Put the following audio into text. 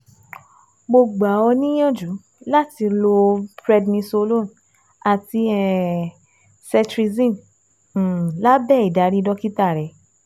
Mo gba ọ níyànjú láti lo prednisolone àti um cetirizine um lábẹ́ ìdarí dókítà rẹ